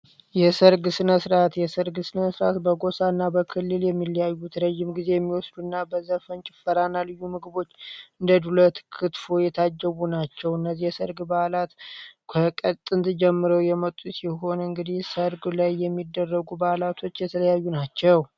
የሰርግ ስነስርዓት የሰርግ ስነስርዓት በጎሳ እና በክልል የሚለያዩት ብዙ ጊዜ ሚመወስዱ እና በዘፈን ፣ጭፈራ እና ልዩ ምግቦች እንደ ዱለት፣ ክትፎ የታጀቡ ናቸው። እነዚህን ነገሮች እየተጠቀሙ እየተዝናኑ የሚያከናውኑት ዝግጅት ነው።